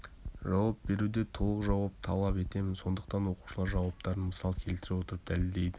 жауап беруде толық жауап талап етемін сондықтан оқушылар жауаптарын мысал келтіре отырып дәлелдейді